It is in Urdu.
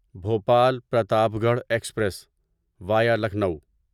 Bhopal Pratapgarh express via Lucknow